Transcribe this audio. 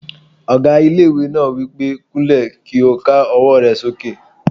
Ọgá ilé-ìwé náà wí pé "kúnlẹ̀ kí o ká ọwọ́ rẹ sókè